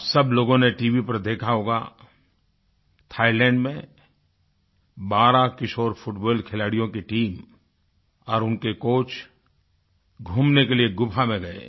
आप सब लोगों ने टीवी पर देखा होगा थाईलैंड में 12 किशोर फुटबॉल खिलाड़ियों की टीम और उनके कोच घूमने के लिए गुफ़ा में गए